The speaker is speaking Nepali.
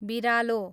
बिरालो